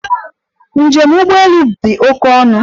Njem ụgbọ elu dị oke ọnụ.